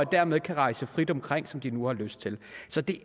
dermed kan rejse frit omkring som de nu har lyst til så det